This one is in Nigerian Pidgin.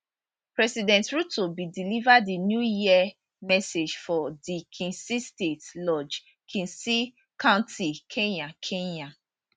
president ruto bin deliver di new year message for di kisii state lodge kisii county kenya kenya